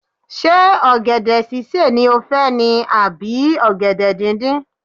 Ṣé ọ̀gẹ̀dẹ̀ sísè ni ó fẹ́ ni à bí ọ̀gẹ̀dẹ̀ díndín.